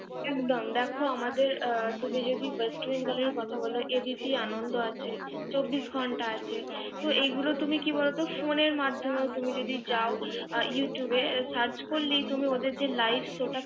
দেখ আমাদের প্রতিজোগি ওয়েস্ট ইন্ডিজ দলের কথা হল এদিকে আনন্দ আছে। চব্বিশ ঘন্টা আছে। তো এগুলো তুমি কি বলত? ফোনের মাধ্যমে তুমি যদি যাও ইউটিউবে search করলেই তুমি যে ওদের যে live show টা